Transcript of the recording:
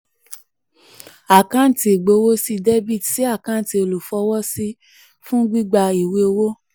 àkáǹtì ìgbowósí dr sí àkáǹtì olúfọwọ́sí — fún gbígbà ìwé owó.